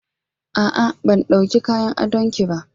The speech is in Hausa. A'a ban dawka kayan adon ki ba.